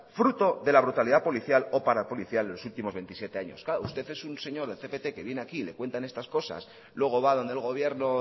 fruto de la brutalidad policial o parapolicial de los últimos veintisiete años claro usted es un señor del cpt que viene aquí y le cuentan estas cosas luego va a donde el gobierno